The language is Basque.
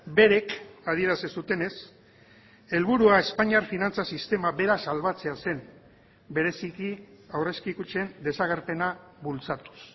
berek adierazi zutenez helburua espainiar finantza sistema bera salbatzea zen bereziki aurrezki kutxen desagerpena bultzatuz